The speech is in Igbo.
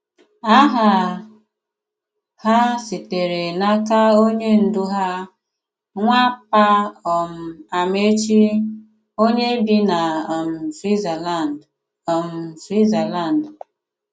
Àhà hà sitere n'aka onye ndú hà, Nwàpà um Àmàèchì, onye bì na um Swìtzerlànd. um Swìtzerlànd.